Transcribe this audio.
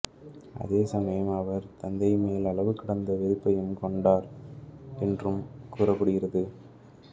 அதே சமயம் அவர் தந்தைமேல் அளவு கடந்த வெறுப்பையும் கொண்டார் என்றும் கூறப்படுகிறது